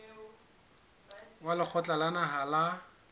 wa lekgotla la naha la